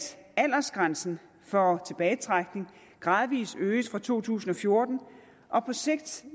aldersgrænsen for tilbagetrækning gradvis øges fra to tusind og fjorten og på sigt